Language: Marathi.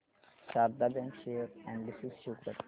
Sharda bank share analysis show कर